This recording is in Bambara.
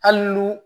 Hali ni